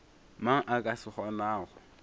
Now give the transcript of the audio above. mang a ka se kgonago